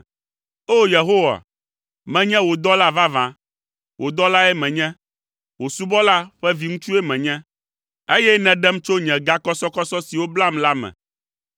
O! Yehowa, menye wò dɔla vavã, wò dɔlae menye, wò subɔla ƒe viŋutsue menye, eye nèɖem tso nye gakɔsɔkɔsɔ siwo blam la me.